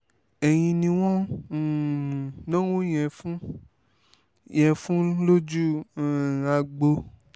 ẹ̀yin ni wọ́n ń um náwó yẹn fún yẹn fún lójú um agbo